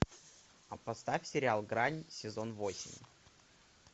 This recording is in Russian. а поставь сериал грань сезон восемь